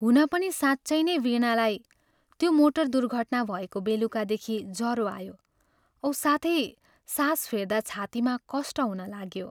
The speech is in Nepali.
हुन पनि साँच्चै नै वीणालाई त्यो मोटर दुर्घटना भएको बेलुकादेखि जरो आयो औ साथै सास फेर्दा छातीमा कष्ट हुन लाग्यो।